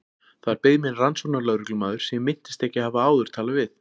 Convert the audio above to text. Þar beið mín rannsóknarlögreglumaður sem ég minntist ekki að hafa áður talað við.